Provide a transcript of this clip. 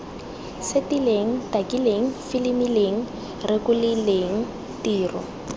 setileng takileng filimileng rekotileng tiro